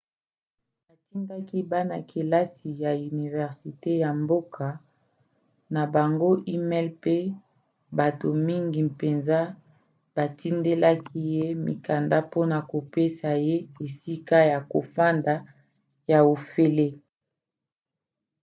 atindaki bana-kelasi ya universite ya mboka na bango e-mail mpe bato mingi mpenza batindelaki ye mikanda mpona kopesa ye esika ya kofanda ya ofele